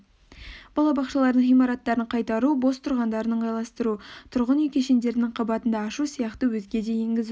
балабақшалардың ғимараттарын қайтару бос тұрғандарын ыңғайластыру тұрғын үй кешендерінің қабатында ашу сияқты өзге де енгізу